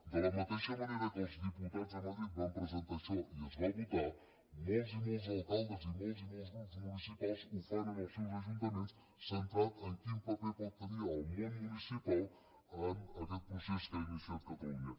de la mateixa manera que els diputats a madrid van presentar això i es va votar molts i molts alcaldes i molts i molts grups municipals ho fan en els seus ajuntaments centrat en quin paper pot tenir el món municipal en aquest procés que ha iniciat catalunya